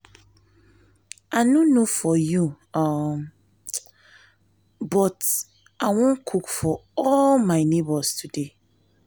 i no know for you um oo but i wan cook for all my neighbors today um